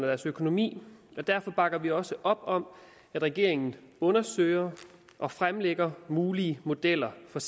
deres økonomi og derfor bakker vi også op om at regeringen undersøger og fremlægger mulige modeller for